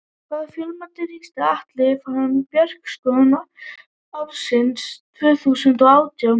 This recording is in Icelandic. Hvaða fjölmiðli ritstýrði Atli Fannar Bjarkason til ársins tvö þúsund og átján?